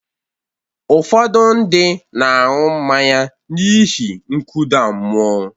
Ụfọdụ ndị na-aṅụ mmanya n’ihi nkụda mmụọ.